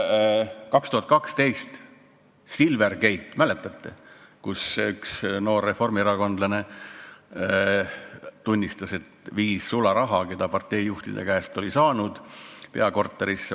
2012 oli Silvergate, võib-olla mäletate, kui üks noor reformierakondlane tunnistas, et viis sularaha, mille ta parteijuhtide käest oli saanud, peakorterisse.